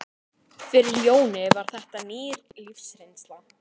Fyrir Jóni var þetta ný lífsreynsla.